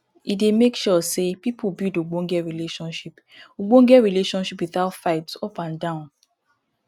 e dey make sure sey pipo build ogbonge relationship ogbonge relationship without fight up and down